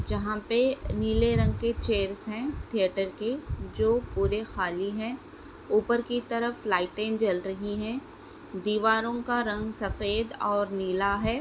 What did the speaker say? जहा पे नीले रंग के चैयर्स है थिएटर की जो पूरे खाली है उपर की तरफ लाइटे जल रही है दीवारों का रंग सफ़ेद और नीला है।